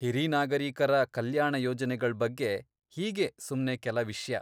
ಹಿರೀ ನಾಗರೀಕರ ಕಲ್ಯಾಣ ಯೋಜನೆಗಳ್ ಬಗ್ಗೆ ಹೀಗೇ ಸುಮ್ನೆ ಕೆಲ ವಿಷ್ಯ.